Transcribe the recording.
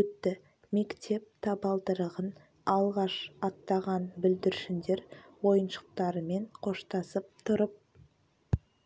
өтті мектеп табалдырығын алғаш аттаған бүлдіршіндер ойыншықтарымен қоштасып тұрып